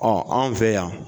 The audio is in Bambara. Ɔn anw fɛ yan